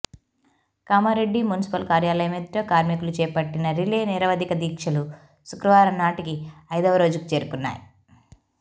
Kamareddy municipal కార్యాలయం ఎదుట కార్మికులు చేపట్టిన రిలే నిరవధిక దీక్షలు శుక్రవారం నాటికి ఐదవ రోజుకు చేరుకున్నాయి